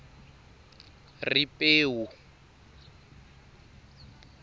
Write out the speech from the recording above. ripewu